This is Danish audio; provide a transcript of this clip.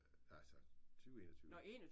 Altså 20 21